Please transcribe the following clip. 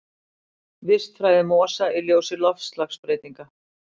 Vistfræði mosa í ljósi loftslagsbreytinga.